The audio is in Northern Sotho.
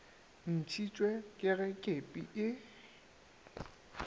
ntšhitšwe ke ge kepi e